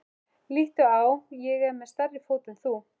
Líttu á, ég er með stærri fót en þú.